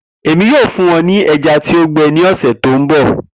Emi yoo fun wọn ni ẹja ti o gbẹ ni ọsẹ to nbọ